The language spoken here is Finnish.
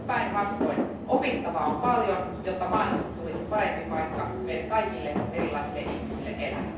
Päinvastoin, opittavaa on paljon, jotta maailmasta tulisi parempi paikka meille kaikille erilaisille ihmisille elää.